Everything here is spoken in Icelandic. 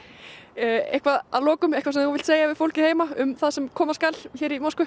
eitthvað að lokum eitthvað sem þú vilt segja við fólkið heima um það sem koma skal í Moskvu